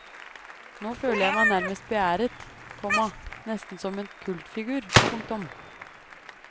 Nå føler jeg meg nærmest beæret, komma nesten som en kultfigur. punktum